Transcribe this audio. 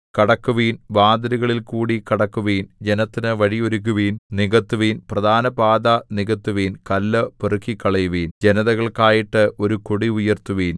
കടക്കുവിൻ വാതിലുകളിൽകൂടി കടക്കുവിൻ ജനത്തിനു വഴി ഒരുക്കുവിൻ നികത്തുവിൻ പ്രധാനപാത നികത്തുവിൻ കല്ല് പെറുക്കിക്കളയുവിൻ ജനതകൾക്കായിട്ട് ഒരു കൊടി ഉയർത്തുവിൻ